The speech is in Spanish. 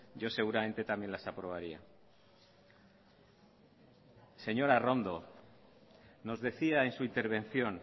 yo seguramente también las aprobaría señora arrondo nos decía en su intervención